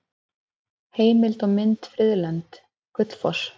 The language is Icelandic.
Heimild og mynd Friðlönd: Gullfoss.